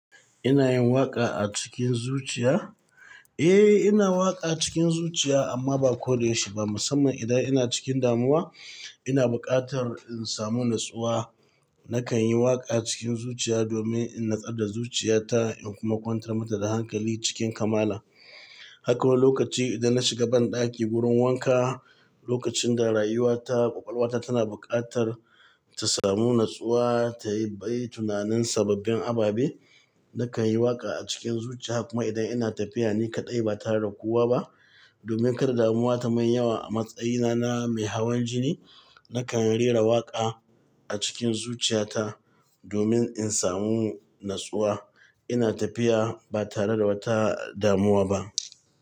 Ina yin waƙa a cikin zuciya? Eh, ina waƙa cikin zuciya amma ba ko da yaushe ba. Musamman idan ina cikin damuwa, ina buƙatar in samu natsuwa. Nakan yi waƙa cikin zuciya domin in natsar da zuciyata in kuma ƙwantar mata da hankali cikin kamala. Haka wani lokaci idan na shiga banɗaki wurin wanka, lokacin da rayuwata, ƙwaƙwalwata tana buƙatar ta samu natsuwa, ta yi bai tunanin sababbin ababe, nakan yi waƙa a cikin zuciya. Kuma idan ina tafiya ni kaɗai ba tare da kowa ba domin kar damuwa tamun yawa a matsayina na mai hawan jini, nakan rera waƙa a cikin zuciyata domin in samu natsuwa. Ina tafiya ba tare da wata damuwa ba.